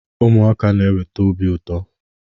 Ụmụaka na-eweta obi ụtọ